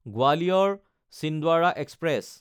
Gwalior-Chhindwara express